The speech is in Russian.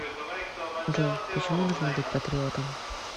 джой почему нужно быть патриотом